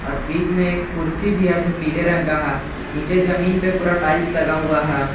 बीच में कुर्सी भी है जो पीले रंग का है नीचे जमीन पर पूरा टाइल्स लगा हुआ हैं।